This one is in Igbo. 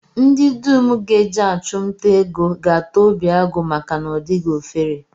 Ndị dum ga-eje achụmnta ego ga-ata obi agụ maka na ọ dịghị ofere